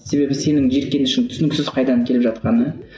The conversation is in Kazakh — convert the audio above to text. себебі сенің жиіркенішің түсініксіз қайдан келіп жатқаны